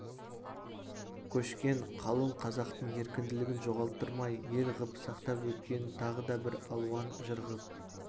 көшкен қалың қазақтың еркінділігін жоғалттырмай ел ғып сақтап өткенін тағы да бір алуан жыр ғып